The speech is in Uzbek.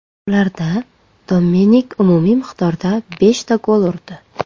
Ularda Dominik umumiy miqdorda beshta gol urdi.